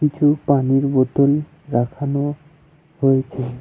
কিছু পানির বোতল রাখানো হয়েছে।